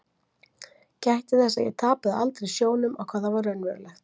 Gætti þess að ég tapaði aldrei sjónum á hvað var raunverulegt.